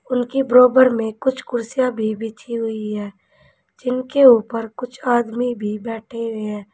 उनके बराबर में कुछ कुर्सियां भी बिछी हुई है जिनके ऊपर कुछ आदमी भी बैठे हुए हैं।